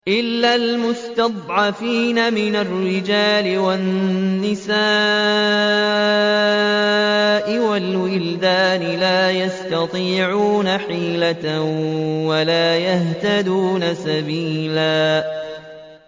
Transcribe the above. إِلَّا الْمُسْتَضْعَفِينَ مِنَ الرِّجَالِ وَالنِّسَاءِ وَالْوِلْدَانِ لَا يَسْتَطِيعُونَ حِيلَةً وَلَا يَهْتَدُونَ سَبِيلًا